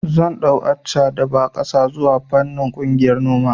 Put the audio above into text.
Zan ɗau Accha da ba ƙasa zuwa fannin ƙungiyar noma